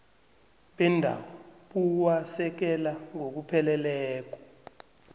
bendawo buwasekela ngokupheleleko